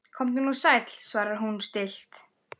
Komdu nú sæll, svarar hún stillt.